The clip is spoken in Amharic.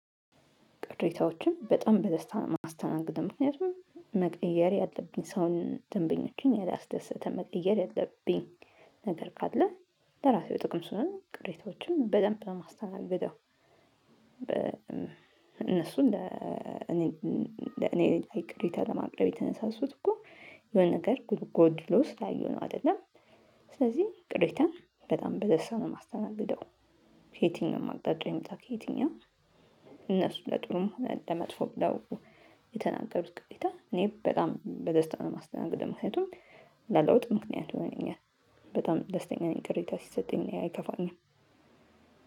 ቅሬታዎችን በጣም በደስታ ነው ማስተናገደው ምክንያቱም መቀየር ያለብኝ ሰውን ደንበኞችን ያላስደሰተ መቀየር ያለብኝ ነገር ካለ ለራሴው ጥቅም ስለሆነ ቅሬታዎችን በደንብ ነው ማስተናግደው። እነሱን ለኔ ለኔ ላይ ቅሬታ ለማቅረብ የተነሳሱት እኮ የሆነ ነገር ጉድ ጎድሎ ስላዩ ነው አይደለም። ስለዚህ ቅሬታን በጣም በደስታ ነው የማስተናግደው። ከየትኛውም አቅጣጫ ይመጣ ከየትኛውም እነሱ ለጥሩም ሆነ ለመጥፎ ብለው የተናገሩት ቅሬታ እኔ በጣም በደስታ ነው የማስተናግደው። ምክንያቱም ለለውጥ ምክንያት ይሆነኛል። በጣም ደስተኛ ነኝ ቅሬታ ሲሰጠኝ እኔ አይከፋኝም።